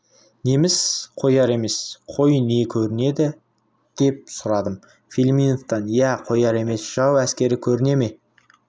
неміс қояр емес қой не көрінеді деп сұрадым филимоновтан иә қояр емес жау әскері көріне ме